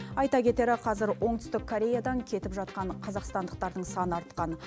айта кетері қазір оңтүстік кореядан кетіп жатқан қазақстандықтардың саны артқан